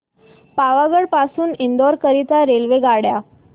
पावागढ पासून इंदोर करीता रेल्वेगाड्या